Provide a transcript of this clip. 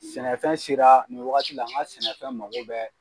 Sɛnɛfɛn sera nin wagati la n ka sɛnɛfɛn mago bɛɛ